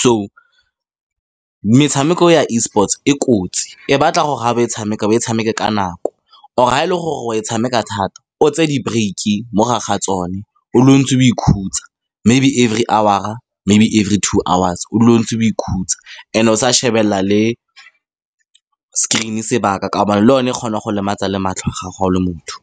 So, metshameko e ya Esports-e e kotsi. E batla gore, fa o e tshameka, o e tshameke ka nako. Or-e, fa e le gore go e tshameka thata, o tseye di-break-e mogare ga tsone, o dule o ntse o ikhutsa, maybe-e every hour-a, maybe every two hours, o dule o ntse o ikhutsa, and-e o sa shebelela le screen-e sebaka ka gobane le yone e kgona go lematsa le matlho a gago fa o le motho.